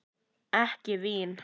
Ekki vín?